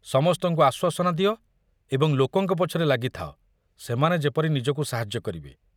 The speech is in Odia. ସମସ୍ତଙ୍କୁ ଆଶ୍ୱାସନା ଦିଅ ଏବଂ ଲୋକଙ୍କ ପଛରେ ଲାଗିଥାଅ ସେମାନେ ଯେପରି ନିଜକୁ ସାହାଯ୍ୟ କରିବେ।